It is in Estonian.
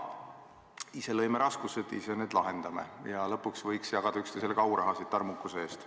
Ise lõime raskused, ise need lahendame ja lõpuks võiks jagada üksteisele ka aurahasid tarmukuse eest.